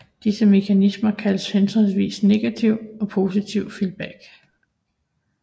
Disse mekanismer kaldes henholdsvis negativ og positiv feedback